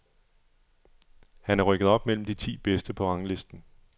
Han er rykket op mellem de ti bedste på ranglisten.